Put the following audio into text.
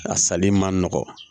A sali man nɔgɔ